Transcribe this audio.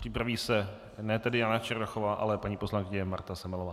Připraví se ne tedy Jana Černochová, ale paní poslankyně Marta Semelová.